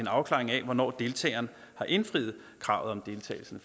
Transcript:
afklaring af hvornår deltageren har indfriet kravet om deltagelsen